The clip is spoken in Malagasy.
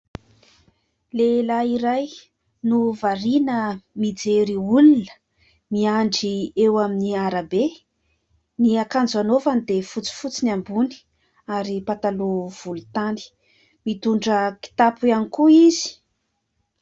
Lehilahy iray no variana mijery olona, miandry eo amin'ny arabe. Ny akanjo anaovany dia fotsifotsy ny ambony ary pataloha volontany, mitondra kitapo ihany koa izy.